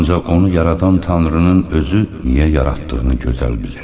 Ancaq onu yaradan Tanrının özü niyə yaratdığını gözəl bilir.